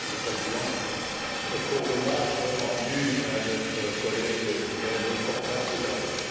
le Président pour l'hommage rendu à notre collègue, Miguel Portas, tout à l'heure.